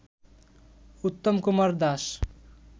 Uttam Kumar Das